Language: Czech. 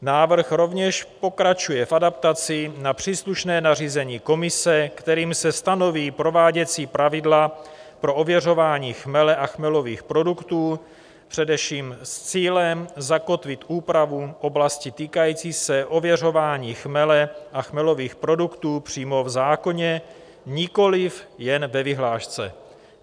Návrh rovněž pokračuje v adaptaci na příslušné nařízení Komise, kterým se stanoví prováděcí pravidla pro ověřování chmele a chmelových produktů, především s cílem zakotvit úpravu oblasti týkající se ověřování chmele a chmelových produktů přímo v zákoně, nikoliv jen ve vyhlášce.